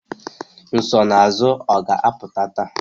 Nsonaazụ ọ ga-apụta taa?